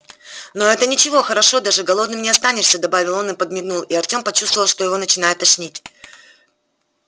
но это ничего хорошо даже голодным не останешься добавил он и подмигнул и артём почувствовал что его начинает тошнить